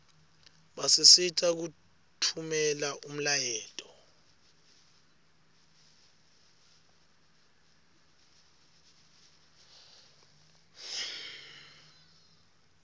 basisita kutfumela umlayeto